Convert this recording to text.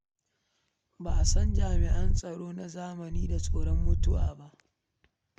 Ba a san jami'an tsaro na zamani da tsoron mutuwa ba.